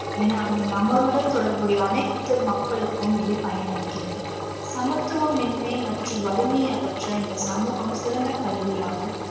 என அந்த நபருடன் தொடர்புடைய அனைத்து மக்களுக்கும் இது பயனளிக்கிறது. சமத்துவமின்மை மற்றும் வறுமையை அகற்ற இந்தச் சமூகம் சிறந்த கருவியாகும்.